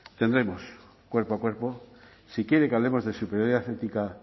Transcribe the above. tendremos cuerpo a cuerpo si quiere que hablemos de superioridad ética